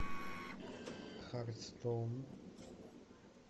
хартстоун